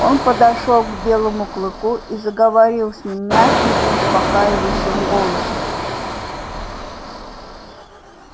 он подошёл к белому клыку и заговорил с ним мягким успокаивающим голосом